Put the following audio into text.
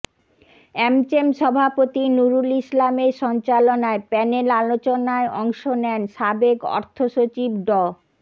AmCham সভাপতি নুরুল ইসলামের সঞ্চালনায় প্যানেল আলোচনায় অংশ নেন সাবেক অর্থসচিব ড